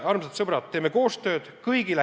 Armsad sõbrad, teeme koostööd!